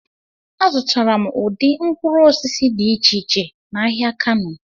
Azụtara m ụdị mkpụrụ osisi dị iche iche n'ahịa Kano.